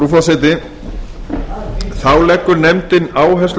einn þá leggur nefndin áherslu